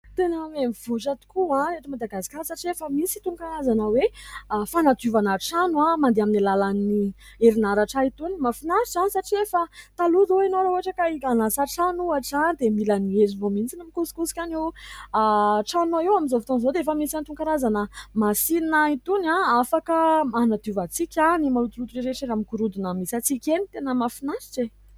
Tena miha mivoatra tokoa eto Madagasikara satria efa misy itony karazana hoe fanadiovana trano mandeha amin'ny alalan'ny herinaratra itony. Mahafinatra satria efa, talohan izao ianao raha ohatra ka hanasa trano ohatra, dia mila ny herinao mihitsy no mikosikosika an' io. Ny tranonao io amin'izao foton'izao dia efa misy an' itony karazana masinina itony afaka hanadiovantsika ny malotoloto rehetra eny amin' ny gorodona misy antsika eny. Tena mahafinaritra e !